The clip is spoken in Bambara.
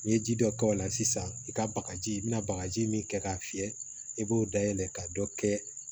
N'i ye ji dɔ k'o la sisan i ka bagaji i bɛna bagaji min kɛ k'a fiyɛ i b'o dayɛlɛ ka dɔ kɛ